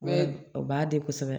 o b'a di kosɛbɛ